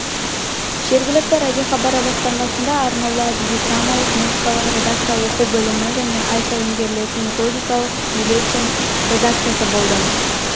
жергілікті радиохабары басқармасында арнаулы әдеби-драмалық музыкалық редакция оқу бөлімі және ай сайын берілетін методикалық бюллетень редакциясы болды